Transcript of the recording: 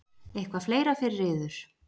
Eitthvað fleira fyrir yður?